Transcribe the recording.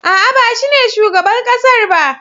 A'a, ba shine shugaban ƙasar ba.